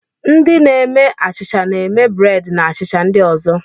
Ndị na-eme achịcha na-eme breedi na achịcha ndị ozo.